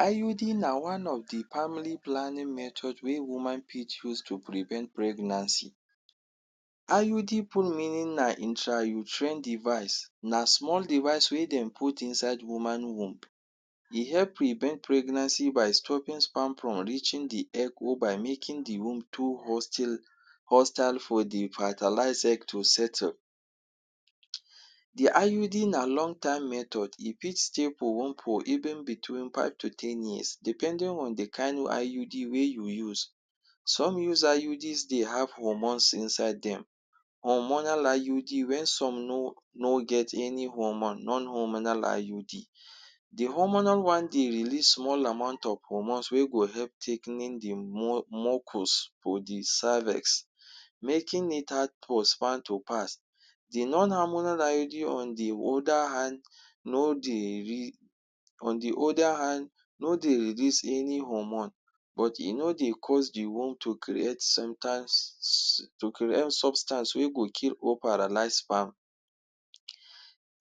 IUD na one of the family planning method wey woman fit use to prevent pregnancy. IUD full meaning na intrauterine device, na small device wey dem put inside woman womb. E help prevent pregnancy by stopping sperm from reaching the egg or by making the womb too hostile hostile for the fertilized egg to settle. um The IUD na long-term method, e fit stay for month or even between five to ten years, depending on the kind of IUD wey you use. Some use IUDs they have hormones inside them. Hormonal IUD when some no no get any hormone, non-hormonal IUD. The hormonal one dey release small amount of hormones wey help tigh ten ing the mu mucous for the cervix, making it hard for sperm to pass. The non-hormonal IUD on the other hand, no dey re on the other hand, no dey release any hormone, but e no dey cause the womb to create to create substance wey go kill or paralyze sperm.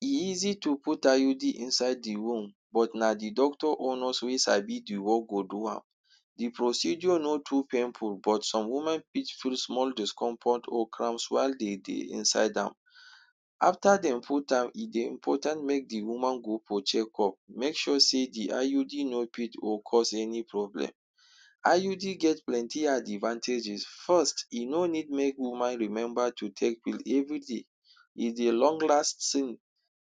E easy to put IUD inside the womb, but na the doctor or nurse wey sabi the work go do am. The procedure no too painful, but some women feel small discomfort or cramps while de dey inside am. After de put am, e dey important make the woman go for check-up. Make sure sey the IUD no fit or cause any problem. IUD get plenty advantages. First, e no need make woman remember to take pill every day. E dey long-lasting,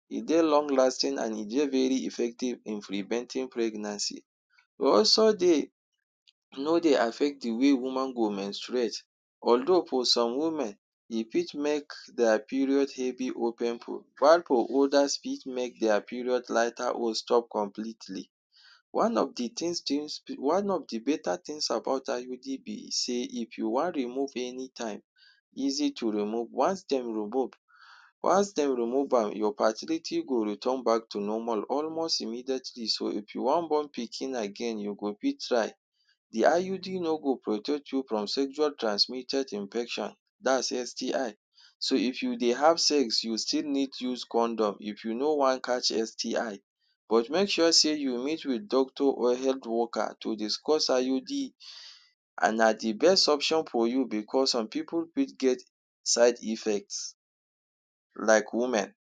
e dey long-lasting and e dey very effective in preventing pregnancy. Also, they no dey affect the way woman go menstruate. Although for some women, e fit make their period heavy or painful, while for others e fit make their period lighter or stop completely. One of the thing thing, one of the better things about IUD be sey, if you wan remove any time, easy to remove. Once dem, once dem remove am, your fertility go return back to normal almost immediately. So if you want born again, you go fit try. The IUD no go protect you from sexual transmitted infection, dat's STI. So if you dey have sex, you still need to use condom if you no want catch STI. But make sure say you meet with doctor or health worker to discuss IUD. And na the best option for you because some pipu fit get side effects like women.